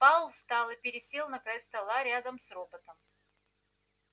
пауэлл встал и пересел на край стола рядом с роботом